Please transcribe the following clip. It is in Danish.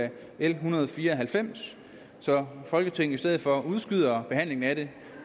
af l en hundrede og fire og halvfems så folketinget i stedet for udskyder behandlingen af det